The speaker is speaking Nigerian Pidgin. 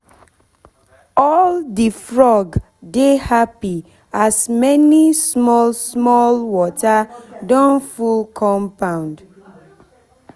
all the frog dey happy as many small small water don full compound